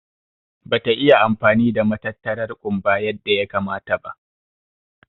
Ɓa ta iya amfani da matattarar kumɓa yadda ya kamata ba.